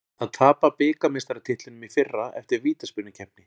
Að tapa bikarmeistaratitlinum í fyrra eftir vítaspyrnukeppni